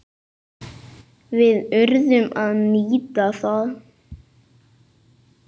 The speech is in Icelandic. Við urðum að nýta það.